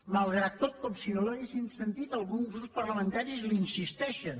malgrat tot com si no l’haguessin sentit alguns grups parlamentaris hi insisteixen